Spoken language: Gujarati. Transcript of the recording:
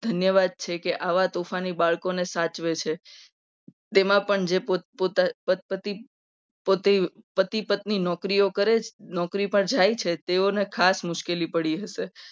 ધન્યવાદ છે. કે સાચવે છે. તેમાં પણ પોતે પોત પોતાના પતિ પતિ પતિ પત્ની નોકરી કરે છે. નોકરી પર જાય છે. તેઓને ખાસ મુશ્કેલી પડી હશે.